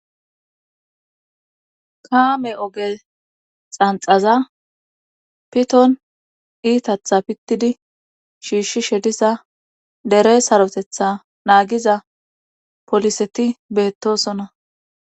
Kaame oge xanxaza piton iitatha pittidi shiishshi shedisa dere sarotetha naagiza poliseti beettosonna.